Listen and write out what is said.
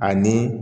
Ani